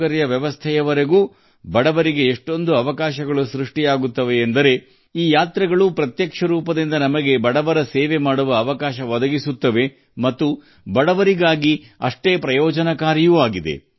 ಧಾರ್ಮಿಕ ಆಚರಣೆಗಳಿಂದ ಹಿಡಿದು ವಸತಿ ವ್ಯವಸ್ಥೆಗಳವರೆಗೆ ಅಂದರೆ ಈ ಯಾತ್ರೆಗಳು ನೇರವಾಗಿ ನಮಗೆ ಬಡವರ ಸೇವೆ ಮಾಡಲು ಅವಕಾಶವನ್ನು ನೀಡುತ್ತವೆ ಮತ್ತು ಅವರಿಗೂ ಅವು ಅಷ್ಟೇ ಪ್ರಯೋಜನಕಾರಿಯಾಗಿವೆ